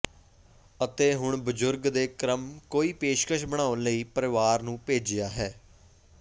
ਅਤੇ ਹੁਣ ਬਜ਼ੁਰਗ ਦੇ ਕ੍ਰਮ ਕੋਈ ਪੇਸ਼ਕਸ਼ ਬਣਾਉਣ ਲਈ ਪਰਿਵਾਰ ਨੂੰ ਭੇਜਿਆ ਹੈ